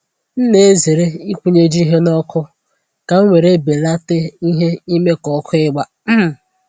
M na-ezere ịkwụnyeju ihe n'ọkụ, ka m were belate ìhè ime ka ọkụ igba um